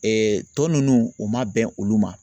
tɔ ninnu u ma bɛn olu ma